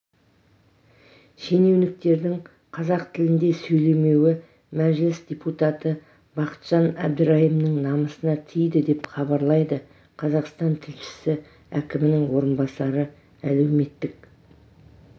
шенеуніктердің қазақ тілінде сөйлемеуі мәжіліс депутаты бақытжан әбдірайымның намысына тиді деп хабарлайды қазақстантілшісі әкімнің орынбасары әлеуметтік